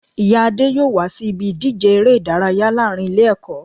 Ìyá Adé yóò wá sí ibi ìdíje eré ìdárayá láàrin Ilé èkó